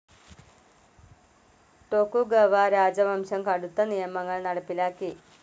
Tokugawa രാജവംശം കടുത്ത് നിയമങ്ങൾ നടപ്പിലാക്കി.